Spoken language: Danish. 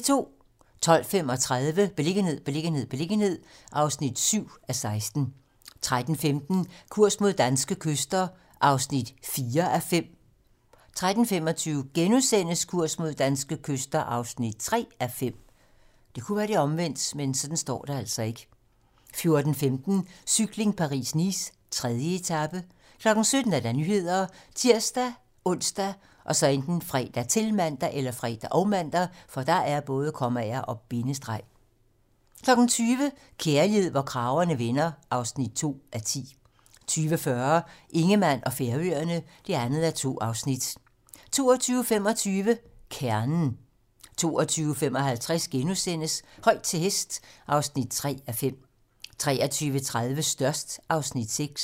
12:35: Beliggenhed, beliggenhed, beliggenhed (7:16) 13:15: Kurs mod danske kyster (4:5) 13:25: Kurs mod danske kyster (3:5)* 14:15: Cykling: Paris-Nice - 3. etape 17:00: Nyhederne ( tir-ons, fre, -man) 20:00: Kærlighed, hvor kragerne vender (2:10) 20:40: Ingemann og Færøerne (2:2) 22:25: Kernen: 22:55: Højt til hest (3:5)* 23:30: Størst (Afs. 6)